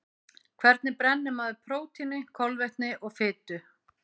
Hvernig brennir maður prótíni, kolvetni og fitu?